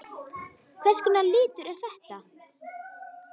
Hvers konar litur er þetta?